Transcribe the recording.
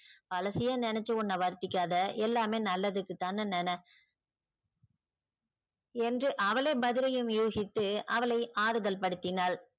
பழசையே நெனச்சி உன்ன வருதிக்காத எல்லாமே நல்லதுக்குதான்னு நென என்று அவளே பதிலையும் யோசித்து அவளை ஆறுதல் படுத்தினாள்.